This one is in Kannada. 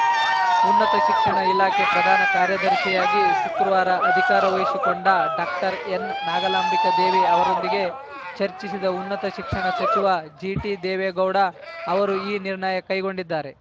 ಉನ್ನತ ಶಿಕ್ಷಣ ಇಲಾಖೆ ಪ್ರಧಾನ ಕಾರ್ಯದರ್ಶಿಯಾಗಿ ಶುಕ್ರವಾರ ಅಧಿಕಾರ ವಹಿಶಿಕೊಂಡ ಡಾಕ್ಟರ್ ಎನ್‌ನಾಗಾಂಬಿಕಾದೇವಿ ಅವರೊಂದಿಗೆ ಚರ್ಚಿಸಿದ ಉನ್ನತ ಶಿಕ್ಷಣ ಸಚಿವ ಜಿಟಿದೇವೇಗೌಡ ಅವರು ಈ ನಿರ್ಣಯ ಕೈಗೊಂಡಿದ್ದಾರೆ